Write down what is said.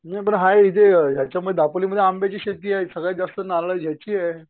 नाही पण हाय हे जे ह्याच्या मध्ये दापोलीमध्ये आंब्याची शेती आहे सगळ्यात जास्त नारळांची ह्याची